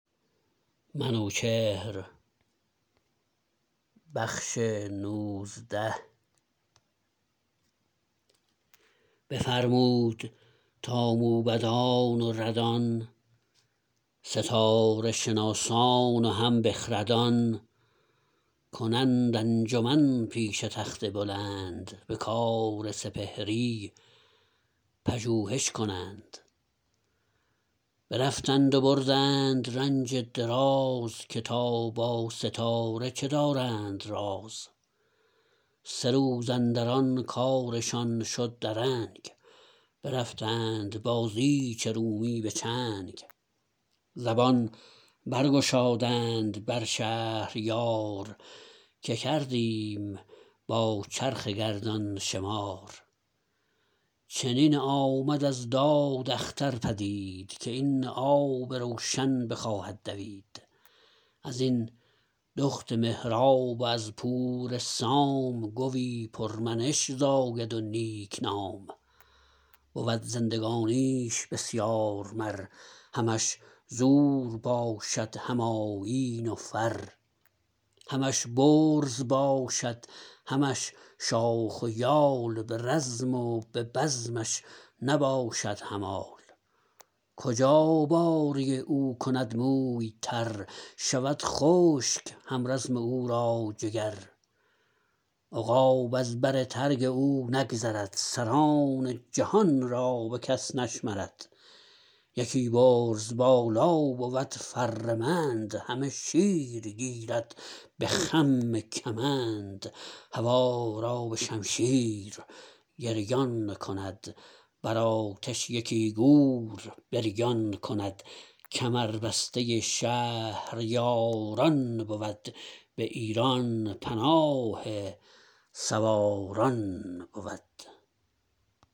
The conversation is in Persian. بفرمود تا موبدان و ردان ستاره شناسان و هم بخردان کنند انجمن پیش تخت بلند به کار سپهری پژوهش کنند برفتند و بردند رنج دراز که تا با ستاره چه دارند راز سه روز اندران کارشان شد درنگ برفتند با زیج رومی به چنگ زبان بر گشادند بر شهریار که کردیم با چرخ گردان شمار چنین آمد از داد اختر پدید که این آب روشن بخواهد دوید ازین دخت مهراب و از پور سام گوی پر منش زاید و نیک نام بود زندگانیش بسیار مر همش زور باشد هم آیین و فر همش برز باشد همش شاخ و یال به رزم و به بزمش نباشد همال کجا باره او کند موی تر شود خشک همرزم او را جگر عقاب از بر ترگ او نگذرد سران جهان را بکس نشمرد یکی برز بالا بود فرمند همه شیر گیرد به خم کمند هوا را به شمشیر گریان کند بر آتش یکی گور بریان کند کمر بسته شهریاران بود به ایران پناه سواران بود